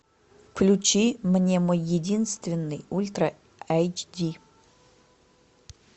включи мне мой единственный ультра эйч ди